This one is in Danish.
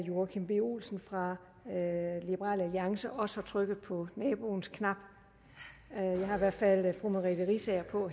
joachim b olsen fra liberal alliance også har trykket på naboens knap jeg har i hvert fald fru merete riisager på